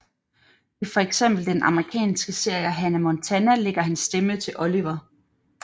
I fx den amerikanske serie Hannah Montana lægger han stemme til Oliver